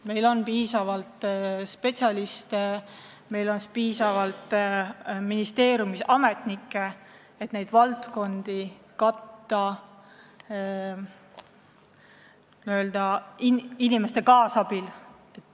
Meil on piisavalt spetsialiste, meil on piisavalt ministeeriumides ametnikke, et neid valdkondi personali kaasabil ühiselt juhtida.